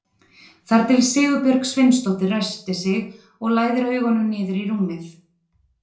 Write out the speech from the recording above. Þar til Sigurbjörg Sveinsdóttir ræskir sig og læðir augunum niður í rúmið.